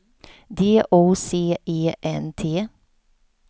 D O C E N T